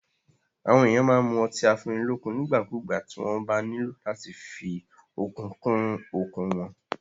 Àwọn èèyàn máa n mu ọtí afúnnilọ́kun nígbàkúgbà tí wọ́n bá nílò láti fí okun kún okun wọn